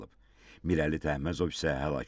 Mirəli Təhməzov isə həlak olub.